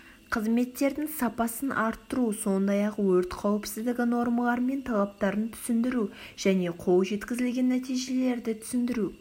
қызметтердің сапасын арттыру сондай-ақ өрт қауіпсіздігі нормалары мен талаптарын түсіндіру және қол жеткізілген нәтижелерді түсіндіру